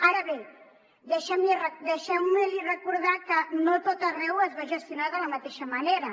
ara bé deixeu me recordar que no a tot arreu es va gestionar de la mateixa manera